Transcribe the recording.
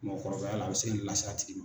Mɔgɔkɔrɔbaya la a bɛ se ka nin lase a tigi ma.